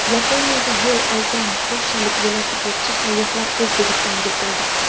Yaponiyaga yo‘l olgan polshalik velosipedchi sayyohlar O‘zbekistonga keldi.